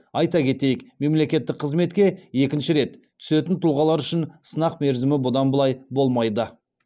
айта кетейік мемлекеттік қызметке екінші рет түсетін тұлғалар үшін сынақ мерзімі бұдан былай болмайды